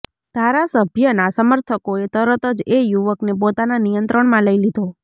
ધારાસભ્યના સમર્થકોએ તરતજ એ યુવકને પોતાના નિયંત્રણમાં લઈ લીધો